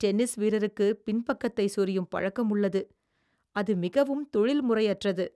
Tennis வீரருக்கு பின்பக்கத்தை சொறியும் பழக்கம் உள்ளது, அது மிகவும் தொழில்முறையற்றது.